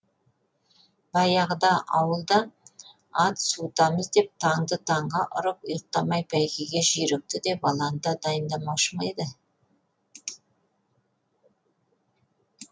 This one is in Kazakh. баяғыда ауылда ат суытамыз деп таңды таңға ұрып ұйықтамай бәйгеге жүйрікті де баланы да дайындамаушы ма еді